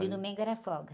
De domingo era folga.